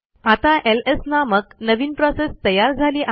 आता एलएस नामक नवीन प्रोसेस तयार झाली आहे